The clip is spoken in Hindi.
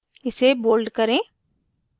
इसे bold करें